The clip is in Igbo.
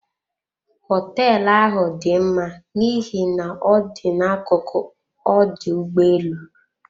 Hoteelu ahụ dị mma n'ihi na ọ dị na akuku ọdụ ụgbọ elu.